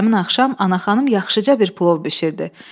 Həmin axşam Anaxanım yaxşıca bir plov bişirdi.